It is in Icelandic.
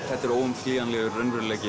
þetta er óumflýjanlegur raunveruleiki